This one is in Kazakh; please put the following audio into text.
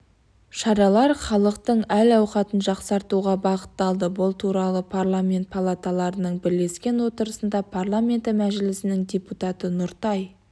шаралар халықтың әл-ауқатын жақсартуға бағытталды бұл туралы парламент палаталарының бірлескен отырысында парламенті мәжілісінің депутаты нұртай